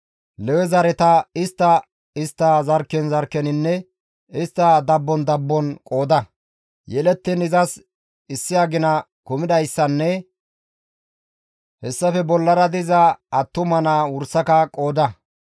«Lewe zareta istta istta zarkken zarkkeninne istta qommon qommon qooda; yelettiin izas issi agina kumidayssanne hessafe bollara diza attuma naa wursaka qooda.»